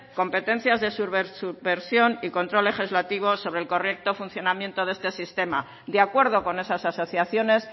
competencias de subversión y control legislativo sobre el correcto funcionamiento de este sistema de acuerdo con esas asociaciones